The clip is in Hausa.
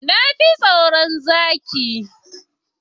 Na fi tsaron zaki.